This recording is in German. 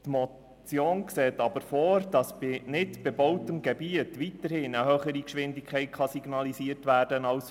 Die Motion sieht aber vor, dass in nicht bebautem Gebiet weiterhin eine höhere Geschwindigkeit als 50 km/h signalisiert werden kann.